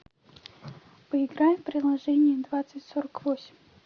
поиграем в приложение двадцать сорок восемь